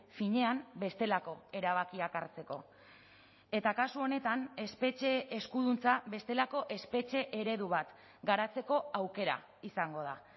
finean bestelako erabakiak hartzeko eta kasu honetan espetxe eskuduntza bestelako espetxe eredu bat garatzeko aukera izango da